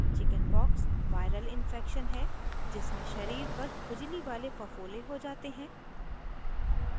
chickenpox viral infection है जिसमें शरीर पर खुजली वाले फफोले हो जाते हैं